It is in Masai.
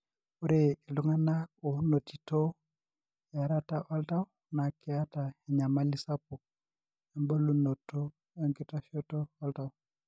ore iltunganak onotito earata oltau na keeta enyamali sapuk ebulunoto enkitashoto oltau.